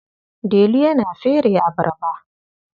Delu yana fere abarba.